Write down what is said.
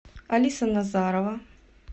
алиса назарова